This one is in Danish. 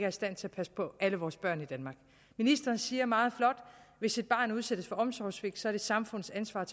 i stand til at passe på alle vores børn i danmark ministeren siger meget flot hvis et barn udsættes for omsorgssvigt er det samfundets ansvar at